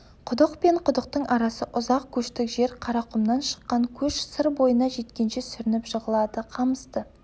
құдық пен құдықтың арасы ұзақ көштік жер қарақұмнан шыққан көш сыр бойына жеткенше сүрініп жығылады қамысты